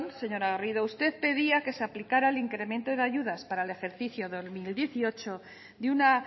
señora garrido usted pedía que se aplicara el incremento de ayudas para el ejercicio dos mil dieciocho de una